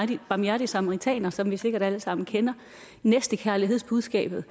den barmhjertige samaritaner som vi sikkert alle sammen kender næstekærlighedsbudskabet